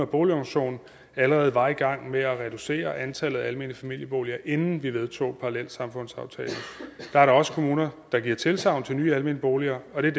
boligorganisationen allerede var i gang med at reducere antallet af almene familieboliger inden vi vedtog parallelsamfundsaftalen der er dog også kommuner der giver tilsagn til nye almene boliger og det